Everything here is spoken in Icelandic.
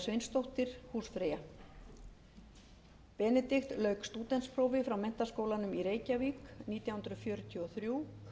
sveinsdóttir húsfreyja benedikt lauk stúdentsprófi frá menntaskólanum í reykjavík nítján hundruð fjörutíu og þrjú